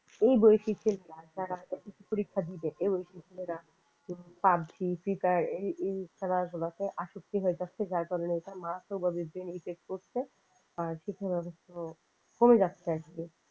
এই বৈচিত্রের গুলা যারা পরীক্ষা দেবে ছেলেপুলেরা পাজি ফিফার এই খেলাধুলাতে আসক্তি হয়ে যাচ্ছে যার কারণে এটা মারাত্মকভাবে ব্রেনে effect করছে আর শিক্ষাগত ইচ্ছা কমে যাচ্ছে আর কি